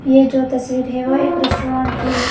ये जो तस्वीर है वह एक रेस्टोरेंट की है।